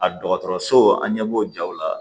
A dɔgɔtɔrɔso an ɲɛ b'o jaw la